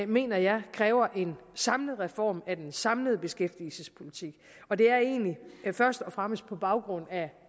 mener jeg kræver en samlet reform af den samlede beskæftigelsespolitik og det er egentlig først og fremmest på baggrund